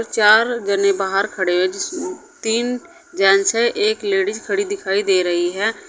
चार जने बाहर खड़े हुए जिस तीन जेंट्स हैं एक लेडिज खड़ी दिखाई दे रही है।